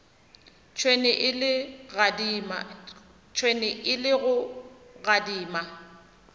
tšhwene e le go gadima